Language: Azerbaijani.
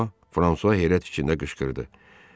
Buna bax ha, Fransua heyrət içində qışqırdı.